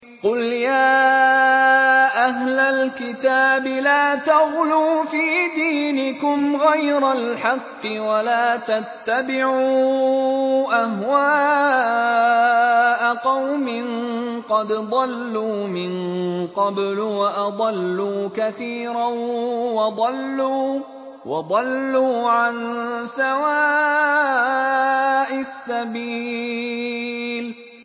قُلْ يَا أَهْلَ الْكِتَابِ لَا تَغْلُوا فِي دِينِكُمْ غَيْرَ الْحَقِّ وَلَا تَتَّبِعُوا أَهْوَاءَ قَوْمٍ قَدْ ضَلُّوا مِن قَبْلُ وَأَضَلُّوا كَثِيرًا وَضَلُّوا عَن سَوَاءِ السَّبِيلِ